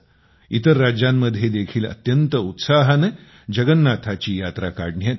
इतर राज्यांमध्ये देखील अत्यंत उत्साहाने जगन्नाथाची यात्रा काढण्यात येते